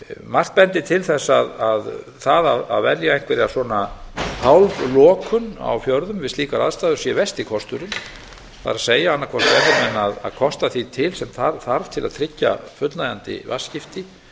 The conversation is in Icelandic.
margt bendir til þess að það að velja einhverja svona hálflokun á fjörðum við slíkar aðstæður sé versti kosturinn það er annað hvort eiga menn að kosta því til sem þarf til að tryggja fullnægjandi vatnsskipti